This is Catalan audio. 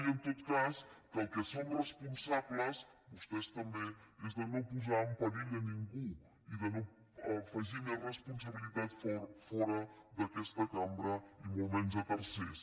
i en tot cas que del que som responsables vostès també és de no posar en perill a ningú i de no afegir més responsabilitat fora d’aquesta cambra i molt menys a tercers